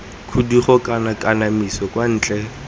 khudugo kana kanamiso kwa ntle